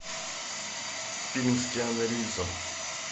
фильм с киану ривзом